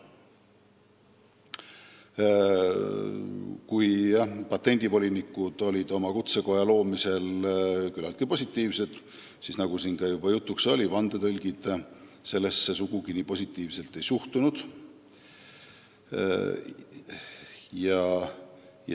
Kui patendivolinikud olid oma kutsekoja loomise suhtes küllaltki positiivsed, siis nagu siin juba jutuks oli, vandetõlgid sellesse sugugi nii positiivselt ei suhtunud.